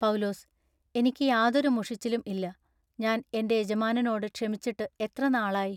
പൌലൂസു--ഇനിക്കു യാതൊരു മുഷിച്ചിലും ഇല്ല. ഞാൻ എന്റെ യജമാനനോടു ക്ഷമിച്ചിട്ടു എത്ര നാളായി?